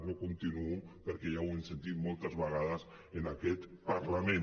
no continuo perquè ja ho hem sentit moltes vegades en aquest parlament